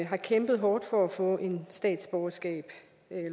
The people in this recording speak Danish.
har kæmpet hårdt for at få statsborgerskab